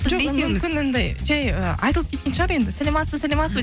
мүмкін анадай жай ы айтылып кеткен шығар енді саламатсыз ба саламатсыз ба